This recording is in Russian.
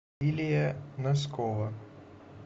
илия носкова